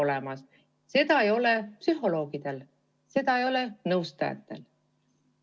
Seda õigust ei ole psühholoogidel, seda ei ole nõustajatel.